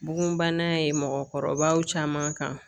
Bugunbana ye mɔgɔkɔrɔbaw caman kan.